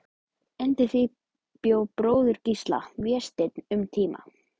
Undir því bjó bróðir Gísla, Vésteinn, um tíma.